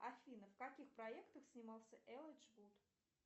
афина в каких проектах снимался элайджа вуд